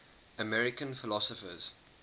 american philosophers